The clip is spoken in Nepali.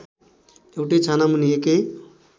एउटै छानामुनि एकै